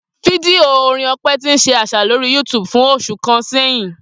Fidio orin Ope ti n ṣe aṣa lori YouTube fun oṣu kan sẹhin.